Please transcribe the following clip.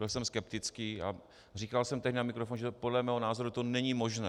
Byl jsem skeptický a říkal jsem tehdy na mikrofon, že podle mého názoru to není možné.